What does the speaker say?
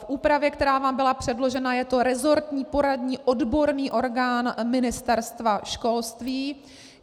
V úpravě, která vám byla předložena, je to rezortní poradní odborný orgán Ministerstva školství.